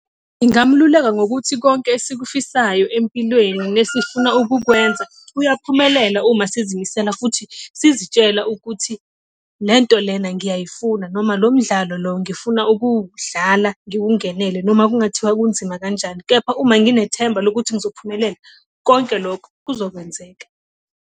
Ngingamululeka ngokuthi konke esikufisayo empilweni nesifuna ukukwenza uyaphumelela uma sizimisela futhi sizitshela ukuthi le nto lena ngiyayifuna noma lo umdlalo lo ngifuna ukuwudlala, ngiwungenele. Noma kungathiwa kunzima kanjani kepha uma nginethemba lokuthi ngizophumelela, konke lokho kuzokwenzeka.